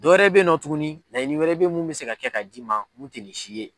Dɔwɛrɛ be nɔ tuguni laɲini wɛrɛ be mun be se ka kɛ ka d'i ma mun te nin si ye